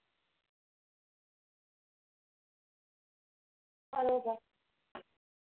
बरोबर